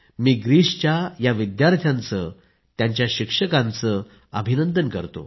मी ग्रीसच्या या विद्यार्थ्यांचं आणि त्यांच्या शिक्षकांचं अभिनंदन करतो